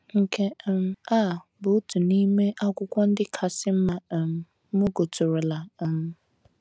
Nke um a bụ otu n’ime akwụkwọ ndị kasị mma um m gụtụrụla. um